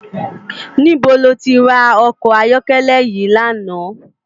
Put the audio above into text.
Nibó ló ti rá òkò àyòkèlè yi làná?